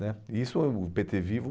Né isso o o pê tê Vivo.